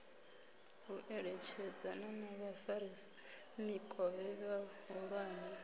u eletshedzana na vhafaramikovhe vhahulwane